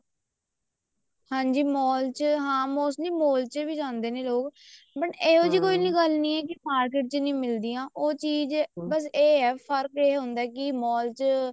ਹਾਂਜੀ mall ਚ ਹਾਂ mostly mall ਚ ਵੀ ਜਾਂਦੇ ਨੇ ਲੋਕ but ਇਹੋ ਜਿਹੀ ਕੋਈ ਗੱਲ ਨੀ ਹੈ ਕੀ market ਚ ਨੀ ਮਿਲਦੀਆਂ ਬੱਸ ਇਹ ਫਰਕ ਇਹ ਹੁੰਦਾ ਕੇ mall ਚ